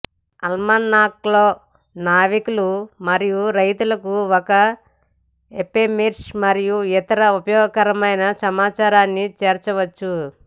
ఆల్మనాక్లో నావికులు మరియు రైతులకు ఒక ఎఫెమెరిస్ మరియు ఇతర ఉపయోగకరమైన సమాచారాన్ని చేర్చవచ్చు